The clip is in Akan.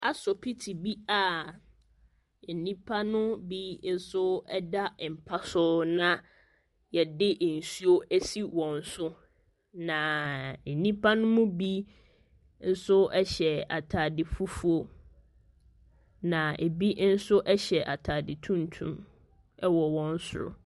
Asopiti bi a nnipa no bi nso ɛda mpa so na yɛde nsuo asi wɔn so. Na nnipa no mu bi nso ɛhyɛ ataade fufuo. Na ebi nso hyɛ ataade tuntum wɔ wɔn soro.